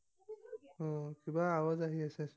উম কিবা আৱাজ আহি আছেচোন।